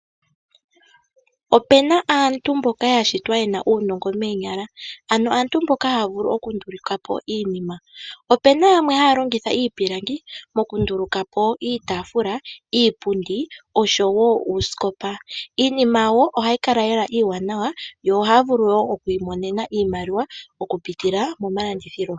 Opena aantu mboka ya shitwa yena uunongo moonyala ano aantu mboka haya vulu okundulukapo iinima. Opena yamwe haya longitha iipilangi mokundulukapo iitaafula, iipundi osho woo uusikopa. Iinima yawo ohayi kala lela iiwanawa , yo ohaya vulu woo okwiimonena iimaliwa oku pitila momalanduthilo